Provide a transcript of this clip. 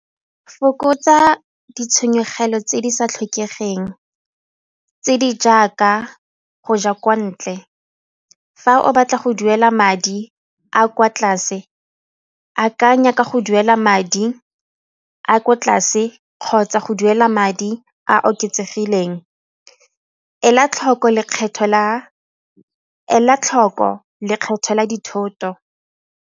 Fokotsa ditshenyegelo tse di sa tlhokegeng tse di jaaka go ja kwa ntle, fa o batla go duela madi a kwa tlase akanya ka go duela madi a kwa tlase kgotsa go duela madi a a oketsegileng. Ela tlhoko lekgetho la dithoto.